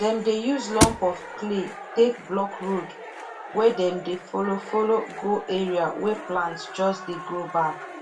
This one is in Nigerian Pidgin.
dem dey use lump of clay take block road wey dem dey follow follow go area wey plant just dey grow back